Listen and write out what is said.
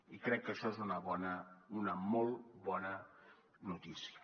i crec que això és una bona una molt bona notícia